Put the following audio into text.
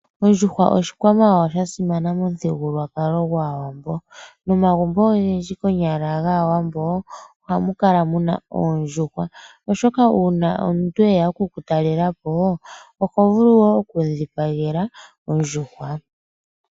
Ondjuhwa oshikwamawawa sha sima momuthigululwakalo gwAawambo nomagumbo ogendji konyala gAawambo ohamu kala muna oondjuhwa ,oshoka uuna omuntu eya oku kutalelapo oho vulu oku mu dhipagela ondjuhwa.